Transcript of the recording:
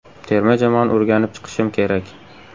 Terma jamoani o‘rganib chiqishim kerak.